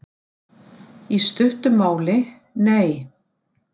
Í stuttu máli: Nei.